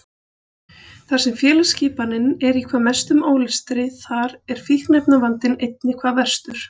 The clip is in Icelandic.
Þar sem félagsskipanin er í hvað mestum ólestri þar er fíkniefnavandinn einnig hvað verstur.